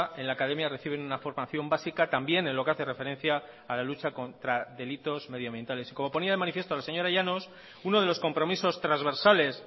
en la academia reciben una formación básica también en lo que hace referencia a la lucha contra delitos medioambientales y como ponía de manifiesto la señora llanos uno de los compromisos transversales